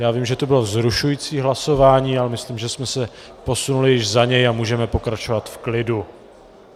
Já vím, že to bylo vzrušující hlasování, ale myslím, že jsme se posunuli již za něj a můžeme pokračovat v klidu.